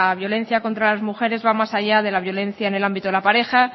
violencia contra las mujeres va más allá de la violencia en el ámbito de la pareja